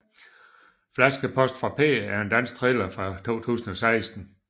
Flaskepost fra P er en dansk thriller fra 2016